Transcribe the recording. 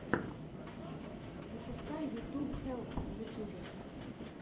запускай ютуб хелп на ютюбе